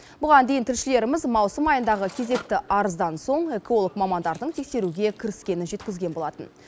бұған дейін тілшілеріміз маусым айындағы кезекті арыздан соң эколог мамандардың тексеруге кіріскенін жеткізген болатын